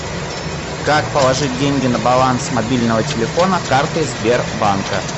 как положить деньги на баланс мобильного телефона картой сбербанка